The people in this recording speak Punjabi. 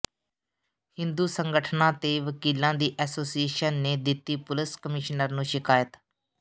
ਹਿੰਦੂ ਸੰਗਠਨਾਂ ਤੇ ਵਕੀਲਾਂ ਦੀ ਐਸੋਸੀਏਸ਼ਨ ਨੇ ਦਿੱਤੀ ਪੁਲਸ ਕਮਿਸ਼ਨਰ ਨੂੰ ਸ਼ਿਕਾਇਤ